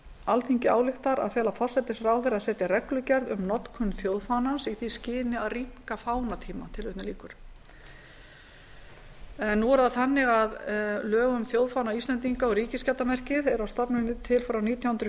alþingi ályktar að fela forsætisráðherra að setja reglugerð um notkun þjóðfánans í því skyni að rýmka fánatíma lög um þjóðfána íslendinga og ríkisskjaldarmerkið er að stofni til frá nítján hundruð